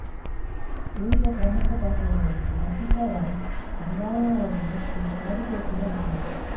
ಉಳಿದ ಪ್ರಮುಖ ಪಾತ್ರಗಳಲ್ಲಿ ರಚಿತಾ ರಾಮ್ ರಂಗಾಯಣ ರಘು ಮತ್ತು ಸಾಧು ಕೋಕಿಲಾ ಇದ್ದಾರೆ